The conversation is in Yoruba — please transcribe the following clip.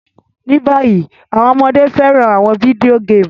Ní bayi, àwon ọmọde fẹ́ràn àwon video game